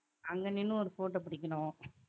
அங்க நின்னு ஒரு photo புடிக்கணும்